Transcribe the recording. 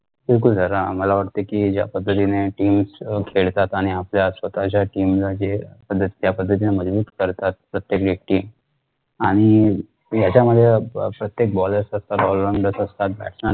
जरा आम्हाला वाटतं कि ज्या पद्धतीने teams खेळतात आणि आपल्या स्वतःच्या team ला हि ज्या पद्धतीने मजबूत करतात प्रत्येक व्यक्ती आणि याच्यामुळे bowler असतात ते all rounder असतात